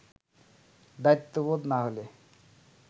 দায়িত্ববোধ না হলে